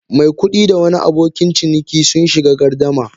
Mai kudi da wani abokin ciniki sun shiga gardama.